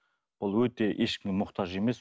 ол өте ешкімге мұқтаж емес